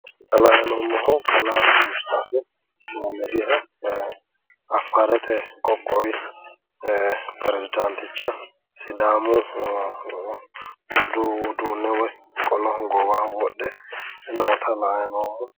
Xa la"ayi noommohu kalaa musxefi mohaammadiha affaarete qoqqowi perezidaanticha sidaamu budu uduunne woyi qolo goowaho wodhe noota la"ayi noommo.